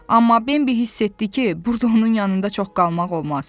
Amma Bembi hiss etdi ki, burda onun yanında çox qalmaq olmaz.